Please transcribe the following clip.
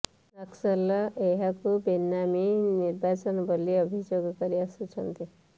ନକ୍ସଲ ଏହାକୁ ବେନାମୀ ନିର୍ବାଚନ ବୋଲି ଅଭିଯୋଗ କରି ଆସୁଛନ୍ତି